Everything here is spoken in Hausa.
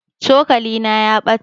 cokalina ya ɓata